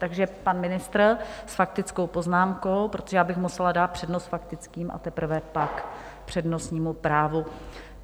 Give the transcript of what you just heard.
Takže pan ministr s faktickou poznámkou, protože já bych musela dát přednost faktickým a teprve pak přednostnímu právu.